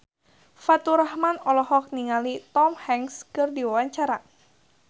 Faturrahman olohok ningali Tom Hanks keur diwawancara